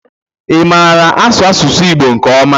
Ị maara asụ asụsụ Igbo nke ọma?